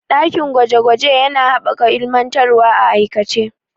Dakin gwaje gwaje yana haɓaka ilmantarwa a aikace.